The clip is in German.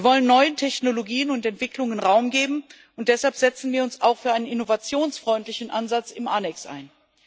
Wir wollen neuen Technologien und Entwicklungen Raum geben, und deshalb setzen wir uns auch für einen innovationsfreundlichen Ansatz im Annex ein.